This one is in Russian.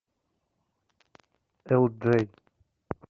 элджей